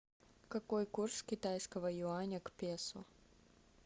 какой курс китайского юаня к песо